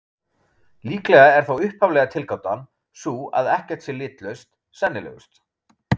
Líklega er þá upphaflega tilgátan, sú að ekkert sé litlaust, sennilegust.